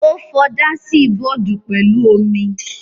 Ó fọ dáásì-bọọ̀dù pẹ̀lú omi.